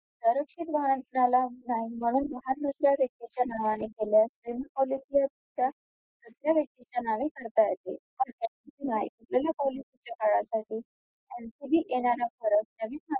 corruption वाहनाला वाहन घेतलेल्या व्यक्तीच्या नावाने केल्यास policy त्या दुसऱ्या व्यक्तीचे नावे करता येते विमा policy च्या काळासाठी ncb येणारा फरक